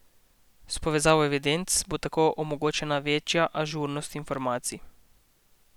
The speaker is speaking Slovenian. S povezavo evidenc bo tako omogočena večja ažurnost informacij.